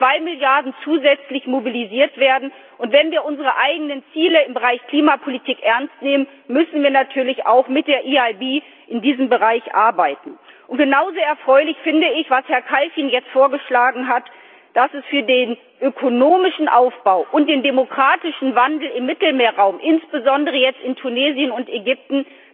Es sollen zwei Milliarden zusätzlich mobilisiert werden, und wenn wir unsere eigenen Ziele im Bereich Klimapolitik ernst nehmen, müssen wir natürlich mit der EIB in diesem Bereich arbeiten. Genau so erfreulich finde ich, was Herr Kalfin jetzt vorgeschlagen hat, dass die EIB auch für den ökonomischen Aufbau und den demokratischen Wandel im Mittelmeerraum insbesondere jetzt in Tunesien und Ägypten